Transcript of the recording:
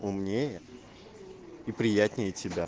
умнее и приятнее тебя